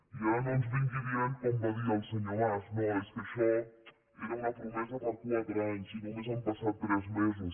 i ara no ens vingui dient com va dir el senyor mas no és que això era una promesa per quatre anys i només han passat tres mesos